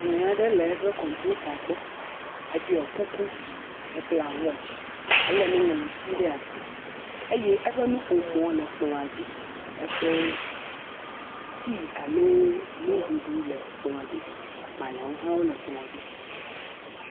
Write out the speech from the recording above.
Ame aɖe le eƒe kɔmputa gbɔ, eɖɔe kuku, abla watch ele nuŋliti ɖe asi eye eƒe nuƒomɔa le kplɔa dzi, eƒe tea alo nuɖuɖuwo le kplɔ dzi. Agbalẽ aɖewo hã le kplɔ dzi.